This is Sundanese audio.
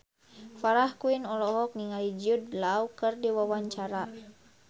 Farah Quinn olohok ningali Jude Law keur diwawancara